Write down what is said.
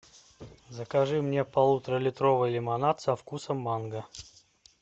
закажи мне полуторалитровый лимонад со вкусом манго